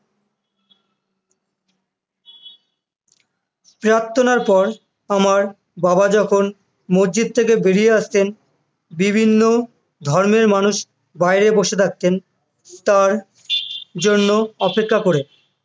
প্রার্থনার পর আমার বাবা যখন মসজিদ থেকে বেরিয়ে আসতেন, বিচ্ছিন্ন ধর্মের মানুষ তার জন্য বসে থাকতেন তাঁর জন্য অপেক্ষা করে